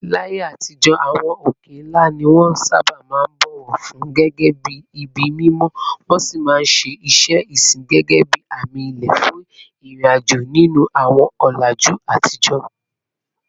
Láyé àtijọ́, àwọn òkè ńlá ni wọ́n sábà máa ń bọ̀wọ̀ fún gẹ́gẹ́ bí ibi mímọ́, wọ́n sì máa ń ṣe iṣẹ́ ìsìn gẹ́gẹ́ bí àmì ilẹ̀ fún ìrìnàjò nínú àwọn ọ̀làjú àtijọ́.